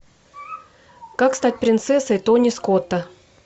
как стать принцессой тони скотта